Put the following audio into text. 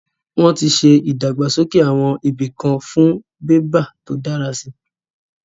Wọ́n ti ṣe ìdàgbàsókè àwọn ibìkan fún bébà tó dára si